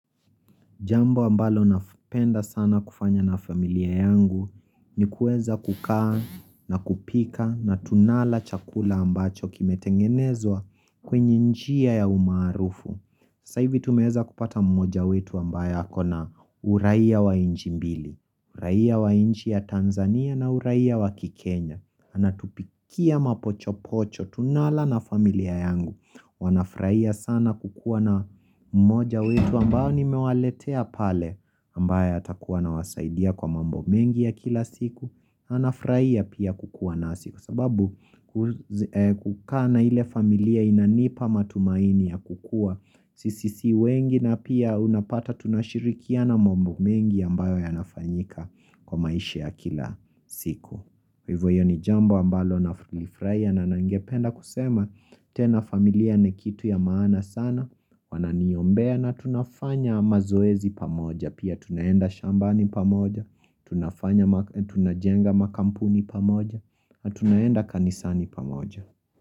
Jambo ambalo napenda sana kufanya na familia yangu ni kuweza kukaa na kupika na tunala chakula ambacho kimetengenezwa kwenye njia ya umaarufu. Sa hivi tumeweza kupata mmoja wetu ambaye ako na uraia wa nchi mbili, uraia wa nchi ya Tanzania na uraia wa kikenya. Anatupikia mapochopocho tunala na familia yangu Wanafurahia sana kukua na mmoja wetu ambaye nimewaletea pale ambaye atakuwa anawasaidia kwa mambo mengi ya kila siku Anafurahia pia kukua nasi kwa sababu kukaa na ile familia inanipa matumaini ya kukua Sisi si wengi na pia unapata tunashirikiana mambo mengi ambayo yanafanyika kwa maishi ya kila siku Kwa hivyo hiyo ni jambo ambalo nalifurahia na ningependa kusema tena familia ni kitu ya maana sana, wananiombea na tunafanya mazoezi pamoja. Pia tunaenda shambani pamoja, Tunajenga makampuni pamoja, na tunaenda kanisani pamoja.